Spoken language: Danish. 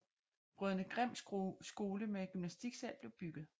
Brødrene Grimm Skole med gymnastiksal blev bygget